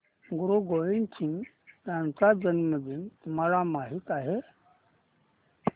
गुरु गोविंद सिंह यांचा जन्मदिन तुम्हाला माहित आहे